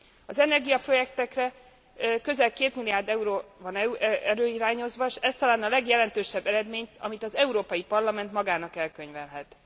Az energiaprojektekre közel 2 milliárd euró van előirányozva, s ez talán a legjelentősebb eredmény, amit az Európai Parlament magának elkönyvelhet.